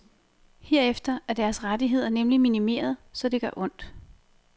Herefter er deres rettigheder nemlig minimeret, så det gør ondt.